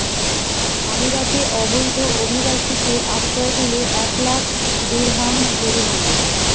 আমিরাতে অবৈধ অভিবাসীকে আশ্রয় দিলে এক লাখ দিরহাম জরিমানা